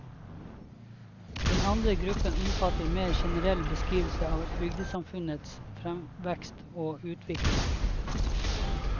Den andre gruppen omfatter mer generelle beskrivelser av bygdesamfunnets fremvekst og utvikling.